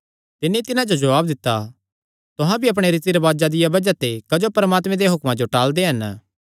तिन्नी तिन्हां जो जवाब दित्ता तुहां भी अपणे रीति रिवाजां दिया बज़ाह ते क्जो परमात्मे देआं हुक्मां टाल़दे हन